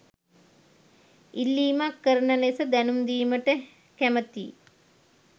ඉල්ලීමක් කරන ලෙස දැනුම් දීමට කැමැතියි.